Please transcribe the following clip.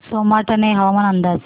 सोमाटणे हवामान अंदाज